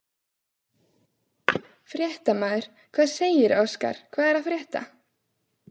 Fréttamaður: Hvað segirðu Óskar, hvað er að frétta?